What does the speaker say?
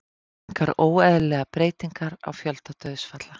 Engar óeðlilegar breytingar á fjölda dauðsfalla